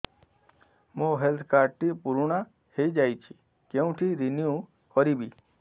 ମୋ health card ଟି ପୁରୁଣା ହେଇଯାଇଛି କେଉଁଠି ରିନିଉ କରିବି